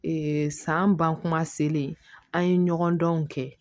san ban kuma selen an ye ɲɔgɔn dɔn kɛ